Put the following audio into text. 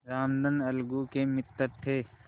रामधन अलगू के मित्र थे